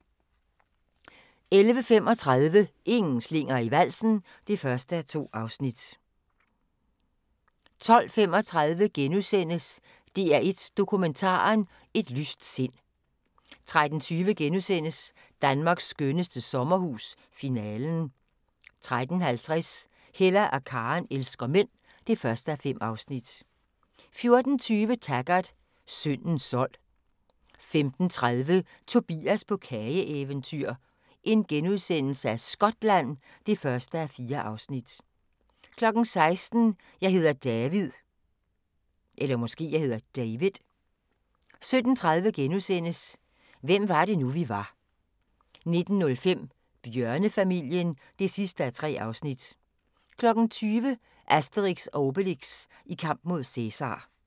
11:35: Ingen slinger i valsen (1:2) 12:35: DR1 Dokumentaren: Et lyst sind * 13:20: Danmarks skønneste sommerhus – Finalen * 13:50: Hella og Karen elsker mænd (1:5) 14:20: Taggart: Syndens sold 15:30: Tobias på kageeventyr – Skotland (1:4)* 16:00: Jeg hedder David 17:30: Hvem var det nu, vi var * 19:05: Bjørnefamilien (3:3) 20:00: Asterix & Obelix i kamp mod Cæsar